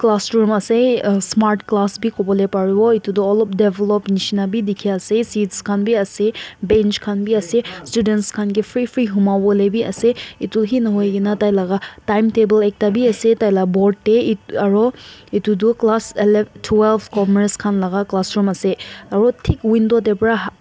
classroom ase smart class bi kubolae baribo etu olop develop nishina bi tiki ase seats kan bi ase bench kan bi ase students kan kae free free huma volae bi ase etu he nahoi kina tai laka time table ekta bi ase tai la board dae aro etu tho class ele twelve commerce kan laka classroom ase aro tik window dae vra.